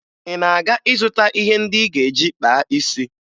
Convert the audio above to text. Ị na-aga ịzụta ihe ndị ị ga-eji kpaa isi?